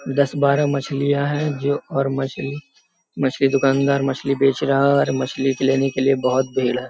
दस बारह मछलियाँ हैं जो और मछलियाँ मछली दुकानदार मछली बेच रहा है और मछली लेने के लिए बहुत भीड़ है।